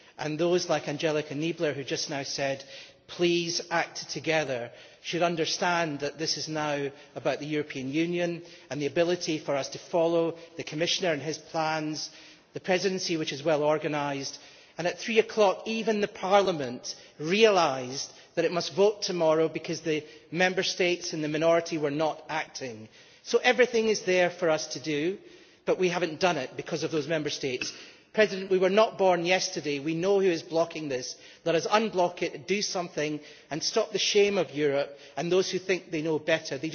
Those like Angelika Niebler, who just now said that we should please act together, should understand that this is now about the European Union and the ability for us to follow the Commissioner and his plans and the Presidency, which is well organised. At 3 o'clock, even Parliament realised that it must vote tomorrow because the Member States in the minority were not acting. Everything is there for us to do, but we have not done it because of those Member States. We were not born yesterday we know who is blocking this. Let us unblock it, do something and stop the shame of Europe and those who think they know better.